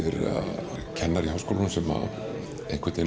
kennari við Háskólann sem